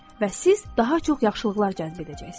Və siz daha çox yaxşılıqlar cəzb edəcəksiniz.